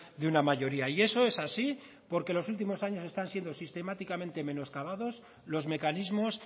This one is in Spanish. de una mayoría y eso es así porque en los últimos años están siendo sistemáticamente menoscabados los mecanismos